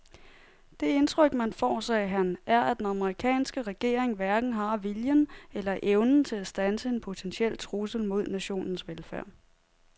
Det indtryk man får, sagde han, er at den amerikanske regering hverken har viljen eller evnen til at standse en potentiel trussel mod nationens velfærd.